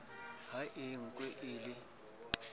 ha e nkwe e le